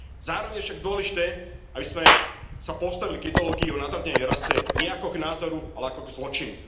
Zároveň je však dôležité, aby sme sa postavili k ideológii o nadradenej rase nie ako k názoru, ale ako zločinu.